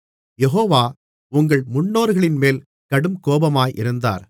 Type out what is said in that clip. யெகோவா உங்கள் முன்னோர்களின்மேல் கடுங்கோபமாயிருந்தார்